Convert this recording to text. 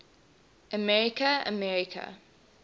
america america